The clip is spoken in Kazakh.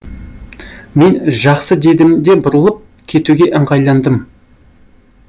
мен жақсы дедім де бұрылып кетуге ыңғайландым